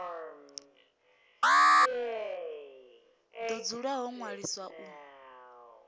do dzula ho ṅwaliswa u